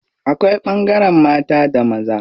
Akwai ɓangaren mata da maza.